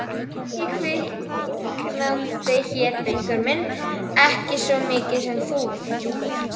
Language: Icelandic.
ekki kvikindi hér drengur minn, ekki svo mikið sem þúfutittlingur.